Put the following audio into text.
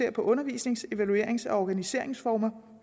undervisnings evaluerings og organiseringsformer